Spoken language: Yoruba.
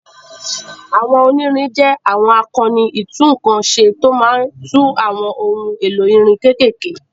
Àwọn onírin jẹ́ àwọn akọni ìtúnǹkan ṣe tó máa ń tún àwọn ohun èlò irin kéékèèké